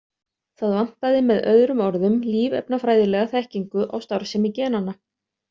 Það vantaði með öðrum orðum lífefnafræðilega þekkingu á starfsemi genanna.